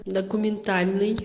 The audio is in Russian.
документальный